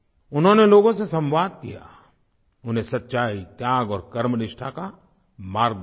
उन्होंने लोगों से संवाद किया उन्हें सच्चाई त्याग और कर्मनिष्ठा का मार्ग दिखाया